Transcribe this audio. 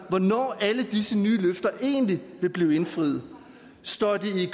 hvornår alle disse nye løfter egentlig vil blive indfriet står de